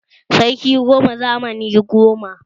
Sarki goma zamani goma.